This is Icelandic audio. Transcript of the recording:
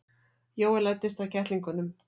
Jói læddist að kettlingunum.